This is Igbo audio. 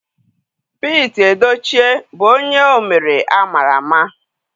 Pete Edochie bụ onye omere ama ama.